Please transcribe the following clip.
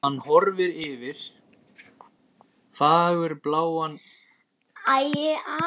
Hann horfir yfir